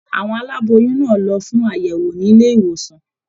Àwọn aláboyún náà lọ fún àyẹwò nílé ìwòsàn.